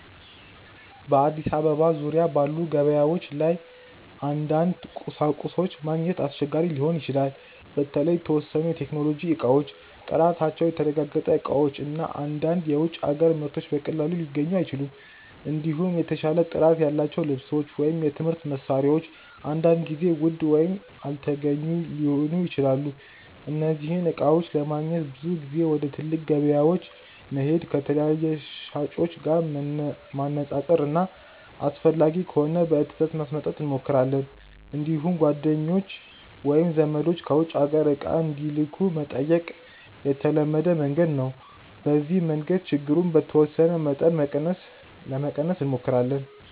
በአዲስ አበባ ዙሪያ ባሉ ገበያዎች ላይ አንዳንድ ቁሳቁሶች ማግኘት አስቸጋሪ ሊሆን ይችላል። በተለይ የተወሰኑ የቴክኖሎጂ እቃዎች፣ ጥራታቸው የተረጋገጠ እቃዎች እና አንዳንድ የውጭ አገር ምርቶች በቀላሉ ሊገኙ አይችሉም። እንዲሁም የተሻለ ጥራት ያላቸው ልብሶች ወይም የትምህርት መሳሪያዎች አንዳንድ ጊዜ ውድ ወይም አልተገኙ ሊሆኑ ይችላሉ። እነዚህን እቃዎች ለማግኘት ብዙ ጊዜ ወደ ትልቅ ገበያዎች መሄድ፣ ከተለያዩ ሻጮች ዋጋ ማነፃፀር እና አስፈላጊ ከሆነ በትእዛዝ ማስመጣት እንሞክራለን። እንዲሁም ጓደኞች ወይም ዘመዶች ከውጭ አገር እቃ እንዲልኩ መጠየቅ የተለመደ መንገድ ነው። በዚህ መንገድ ችግሩን በተወሰነ መጠን ለመቀነስ እንሞክራለን።